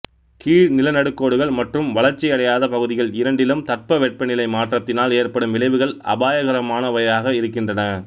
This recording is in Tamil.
கீழ் நில நடுக்கோடுகள் மற்றும் வளர்ச்சியடையாத பகுதிகள் இரண்டிலும் தட்ப வெட்ப நிலை மாற்றத்தினால் ஏற்படும் விளைவுகள் அபாயகரமானவையாக இருக்கின்றன